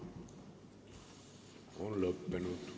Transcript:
On lõppenud.